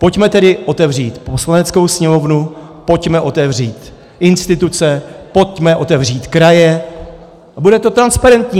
Pojďme tedy otevřít Poslaneckou sněmovnu, pojďme otevřít instituce, pojďme otevřít kraje - a bude to transparentní.